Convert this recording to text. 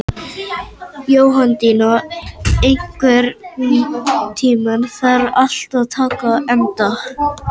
Jóhanndína, einhvern tímann þarf allt að taka enda.